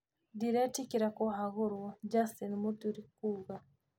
Ndiretigĩra kũhagũrwo, Justin Muturi kuuga